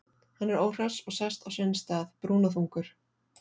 Hann er óhress og sest á sinn stað, brúnaþungur.